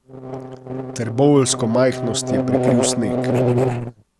Trboveljsko majhnost je prekril sneg.